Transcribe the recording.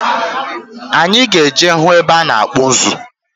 Anyị ga-eje hụ ebe a na-akpụ ụzụ.